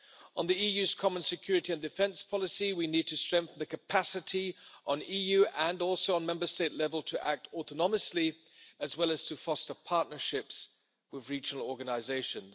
On the EU's common security and defence policy, we need to strengthen capacity on EU— and Member State-level to act autonomously, as well as to foster partnerships with regional organisations.